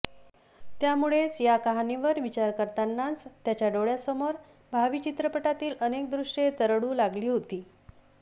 त्यामुळेच या कहाणीवर विचार करतानाच त्याच्या डोळ्यासमोर भावी चित्रपटातील अनेक दृश्ये तरळू लागली होती